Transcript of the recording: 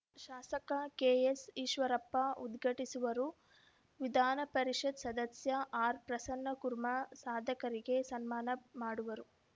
ಶಾಸಕ ಕೆಎಸ್‌ಈಶ್ವರಪ್ಪ ಉದ್ಘಾಟಿಸುವರು ವಿಧಾನಪರಿಷತ್‌ ಸದಸ್ಯ ಆರ್‌ ಪ್ರಸನ್ನಕುರ್ಮಾ ಸಾಧಕರಿಗೆ ಸನ್ಮಾನ ಮಾಡುವರು